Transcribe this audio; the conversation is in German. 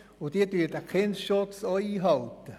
Diese halten den Kindesschutz auch ein.